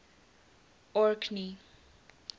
orkney